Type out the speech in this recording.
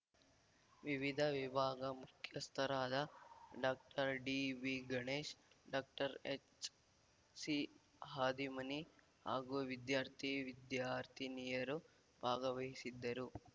ವಿವಿಧ ವಿಭಾಗ ಮುಖ್ಯಸ್ಥರಾದ ಡಾಕ್ಟರ್ಡಿಬಿಗಣೇಶ್‌ ಡಾಕ್ಟರ್ಎಚ್‌ಸಿಹಾದಿಮನಿ ಹಾಗೂ ವಿದ್ಯಾರ್ಥಿವಿದ್ಯಾರ್ಥಿನಿಯರು ಭಾಗವಹಿಸಿದ್ದರು